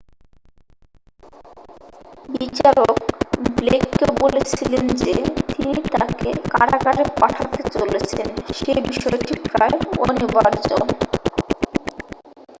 "বিচারক ব্লেককে বলেছিলেন যে তিনি তাকে কারাগারে পাঠাতে চলেছেন সে বিষয়টি "প্রায় অনিবার্য""।